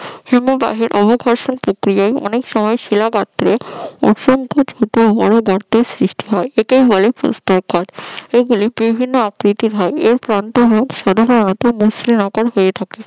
হিমবাহের অবঘর্ষণ প্রক্রিয়ায় অনেক সময় শিলা খাতের ছোট বড় গর্তের সৃষ্টি হয় একে বলে পোস্তাকার এগুলি বিভিন্ন আকৃতির হয়। এই প্রান্ত গুলি সাধারণত মসৃণ আকার হয়ে থাকে